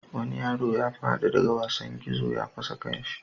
Wani yaro ya fadi daga wasan gizo ya fashe kansa.